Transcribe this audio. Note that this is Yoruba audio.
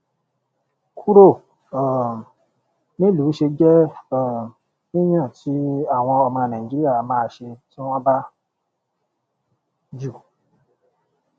kúrò um nílùú ṣé jẹ um yíyàn tí àwọn ọmọ nàìjíríà máa ṣe tí wọn bà jù